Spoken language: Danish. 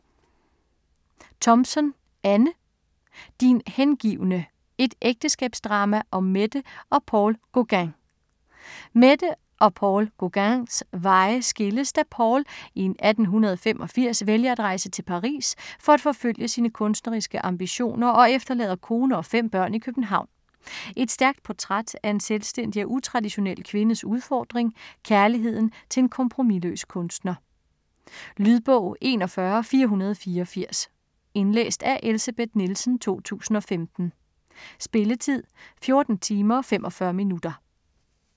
Thompson, Anne: Din hengivne: et ægteskabsdrama om Mette og Paul Gauguin Paul og Mette Gauguins veje skilles da Paul i 1885 vælger at rejse til Paris for at forfølge sine kunstneriske ambitioner og efterlader kone og fem børn i København. Et stærkt portræt af en selvstændig og utraditionel kvindes udfordring; kærligheden til en kompromisløs kunstner. Lydbog 41484 Indlæst af Elsebeth Nielsen, 2015. Spilletid: 14 timer, 45 minutter.